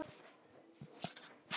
Samt er Ísland alltaf nærri.